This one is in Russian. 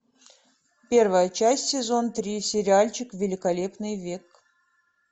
первая часть сезон три сериальчик великолепный век